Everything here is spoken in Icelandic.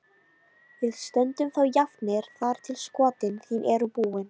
Við stöndum þá jafnir þar til skotin þín eru búin.